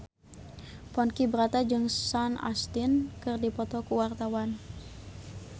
Ponky Brata jeung Sean Astin keur dipoto ku wartawan